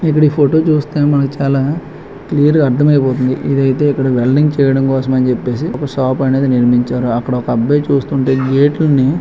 ఇక్కడ ఫోటో చూస్తే మనకు చాలా క్లియర్ గా అర్థం అయిపోతుంది. ఇది అయితే ఇక్కడ వెల్డింగ్ చేయడం కోసం అని చెప్పేసి ఒక షాప్ అయితే నిర్మించారు. అక్కడ ఒక అబ్బాయి చూస్తుంటే గేట్ లని --